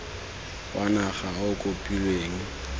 wa naga o o kopilweng